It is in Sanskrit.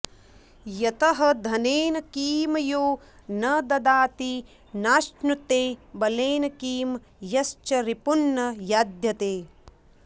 यतः धनेन किं यो न ददाति नाश्नुते बलेन किं यश्च रिपून्न याधत्ते